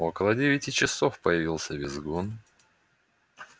около девяти часов появился визгун